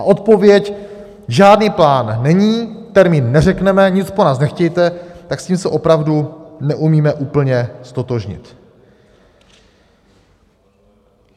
A odpověď - žádný plán není, termín neřekneme, nic po nás nechtějte - tak s tím se opravdu neumíme úplně ztotožnit.